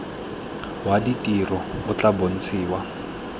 wa ditiro o tla bontshiwa